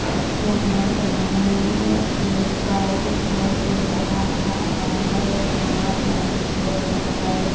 यहाँ पे हमे एक गाय दिखाई दे रहा है और यहाँ पे हमे बहुत सारे --